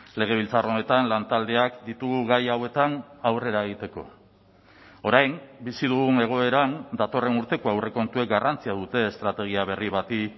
legebiltzar honetan lantaldeak ditugu gai hauetan aurrera egiteko orain bizi dugun egoeran datorren urteko aurrekontuek garrantzia dute estrategia berri bati